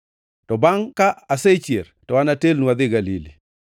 To bangʼ ka asechier to anatelnu adhi Galili.”